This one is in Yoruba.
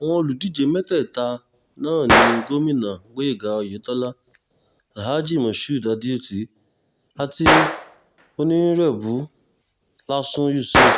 àwọn olùdíje mẹ́tẹ̀ẹ̀ta náà ní gómìnà gboyega oyetọ́la alhaji moshood adeoti àti onírèbù lásun yusuf